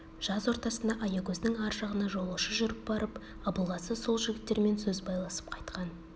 жаз ортасында аягөздің ар жағына жолаушы жүріп барып абылғазы сол жігіттермен сөз байласып қайтқан